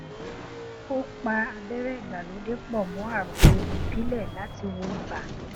ó pa abẹrẹ ìgbàlódé pọ mọ àgbo ìbílẹ láti wo ibà